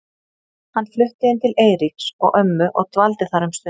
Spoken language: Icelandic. Hann flutti inn til Eiríks og ömmu og dvaldi þar um stund.